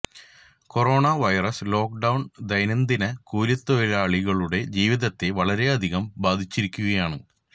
corona virus lockdown ദൈനംദിന കൂലിത്തൊഴിലാളികളുടെ ജീവിതത്തെ വളരെയധികം ബാധിച്ചിരിക്കുകയാണ്